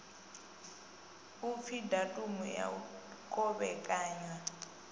upfi datumu ya u kovhekanya